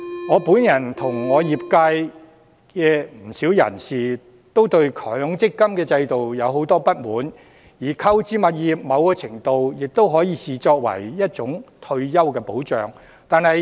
我本人和業界不少人都對強積金制度有很多不滿，而購置物業在某程度上都可以視為一種退休保障。